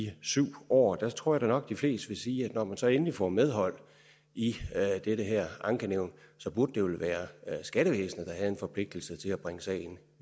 syv år der tror jeg da nok de fleste ville sige at når man så endelig får medhold i det ankenævn burde det vel være skattevæsenet der havde en forpligtelse til at bringe sagen